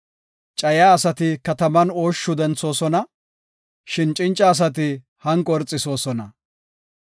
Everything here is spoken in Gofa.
Cayiya asati kataman ooshshu denthoosona; shin cinca asati hanqo irxisoosona.